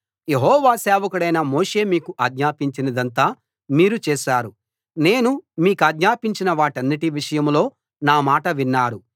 యెహోవా సేవకుడైన మోషే మీకు ఆజ్ఞాపించినదంతా మీరు చేశారు నేను మీ కాజ్ఞాపించిన వాటన్నిటి విషయంలో నా మాట విన్నారు